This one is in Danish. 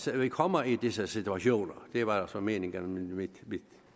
vi kommer i disse situationer det var altså meningen med mit